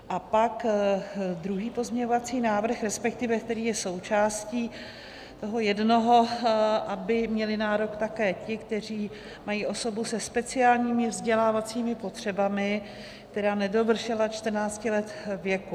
A pak druhý pozměňovací návrh, respektive který je součástí toho jednoho, aby měli nárok také ti, kteří mají osobu se speciálními vzdělávacími potřebami, která nedovršila 14 let věku.